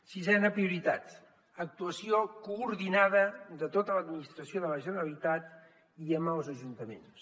sisena prioritat actuació coordinada de tota l’administració de la generalitat i amb els ajuntaments